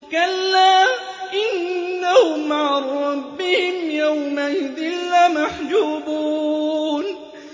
كَلَّا إِنَّهُمْ عَن رَّبِّهِمْ يَوْمَئِذٍ لَّمَحْجُوبُونَ